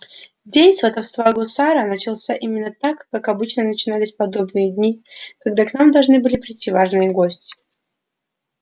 день сватовства гусара начался именно так как обычно начинались подобные дни когда к нам должны были прийти важные гости